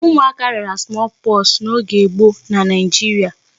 Ụmụaka rịara small pox n'oge gboo na Nigeria.